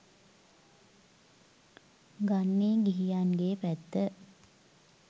ගන්නේ ගිහියන්ගේ පැත්ත.